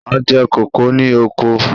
A jẹ kókò ní oko.